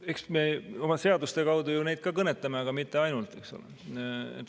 Eks me oma seaduste kaudu neid ju ka kõnetame, aga mitte ainult, eks ole.